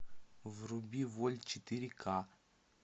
вруби вольт четыре ка